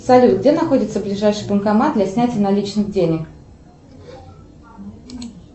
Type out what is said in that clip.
салют где находится ближайший банкомат для снятия наличных денег